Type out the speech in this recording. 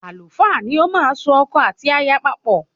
Àlùfáà ni ọ máa n so ọkọ àti aya papọ́